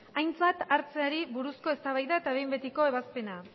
aintzat hartzeari buruzko eztabaida eta behin betiko ebazpena